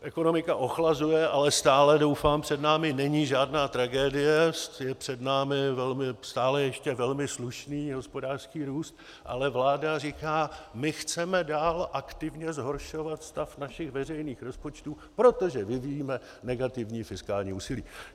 Ekonomika ochlazuje, ale stále, doufám, před námi není žádná tragédie, je před námi stále ještě velmi slušný hospodářský růst, ale vláda říká: my chceme dál aktivně zhoršovat stav našich veřejných rozpočtů, protože vyvíjíme negativní fiskální úsilí.